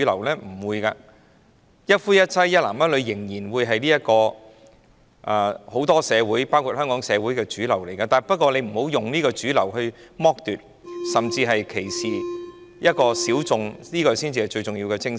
一男一女、一夫一妻的婚姻制度仍然是很多社會的主流，不過大家不要以這主流來剝奪、甚至歧視小眾，這才是最重要的精神。